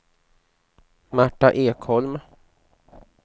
Marta Ekholm